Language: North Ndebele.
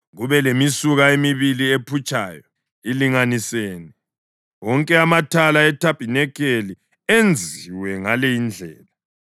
kube lemisuka emibili ephutshayo ilinganisene. Wonke amathala ethabanikeli enziwe ngale indlela.